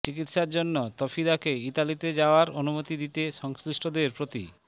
চিকিৎসার জন্য তাফিদাকে ইতালিতে যাওয়ার অনুমতি দিতে সংশ্নিষ্টদের প্রতি